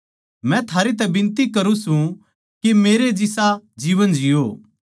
मै थारै तै बिनती करूँ सूं के मेरे जिसा जीवन जिओ